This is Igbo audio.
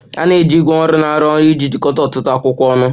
A na-eji ígwè ọrụ na-arụ ọrụ iji jikọta ọtụtụ akwụkwọ ọnụ.